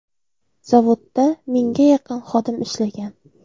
Zavodda mingga yaqin xodim ishlagan.